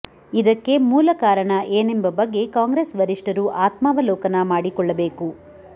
ಇದಕ್ಕೆ ಮೂಲ ಕಾರಣ ಏನೆಂಬ ಬಗ್ಗೆ ಕಾಂಗ್ರೆಸ್ ವರಿಷ್ಠರು ಆತ್ಮಾವಲೋಕನ ಮಾಡಿಕೊಳ್ಳಬೇಕು